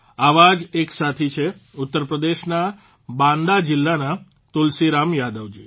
આવા જ એક સાથી છે ઉત્તપ્રદેશના બાંદા જીલ્લાના તુલસીરામ યાદવજી